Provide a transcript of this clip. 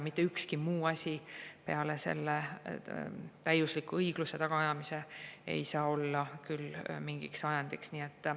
Mitte ükski muu asi peale täieliku õigluse tagaajamise ei saa küll olla mingiks ajendiks.